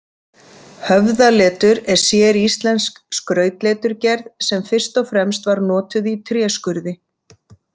Höfðaletur er séríslensk skrautleturgerð sem fyrst og fremst var notuð í tréskurði.